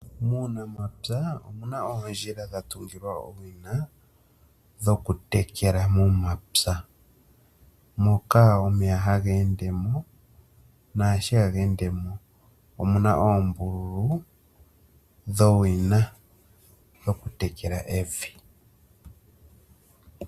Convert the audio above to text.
Muunamapya omuna oondjila odhatungilwa owina dhokutekela momapya, moka omeya hageendemo naashi hageendemo omuna oombululu dhowina dhokutekela evi.